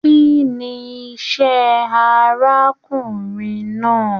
Kínní iṣẹ arákùnrin náà?